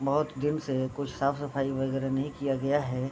बहुत दिन से कुछ साफ-सफई वगेरा नहीं किया गया है।